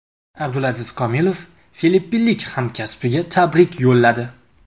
Abdulaziz Komilov filippinlik hamkasbiga tabrik yo‘lladi.